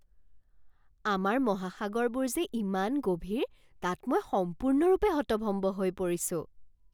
আমাৰ মহাসাগৰবোৰ যে ইমান গভীৰ তাত মই সম্পূৰ্ণৰূপে হতভম্ব হৈ পৰিছো!